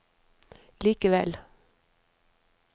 likevel